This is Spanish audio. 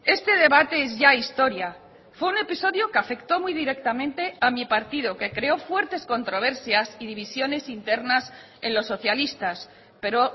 este debate es ya historia fue un episodio que afectó muy directamente a mi partido que creó fuertes controversias y divisiones internas en los socialistas pero